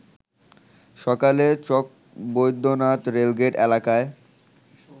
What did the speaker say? সকালে চকবৈদ্যনাথ রেলগেট এলাকায়